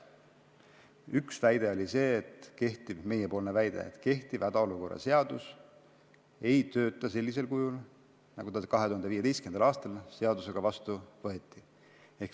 Üks meiepoolne väide oli see, et kehtiv hädaolukorra seadus ei tööta sellisel kujul, nagu see 2015. aastal vastu võeti.